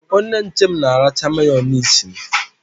Onye nche m na-aracha Mayonezi m.